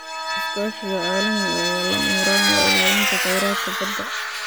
Iskaashiga caalamiga ah ayaa lama huraan u ah ilaalinta kheyraadka badda.